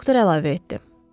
Doktor əlavə etdi.